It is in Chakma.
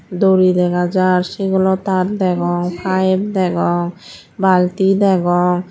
dori degajaar segolotar degong paabe degong balti degong.